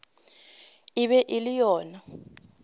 e be e le yena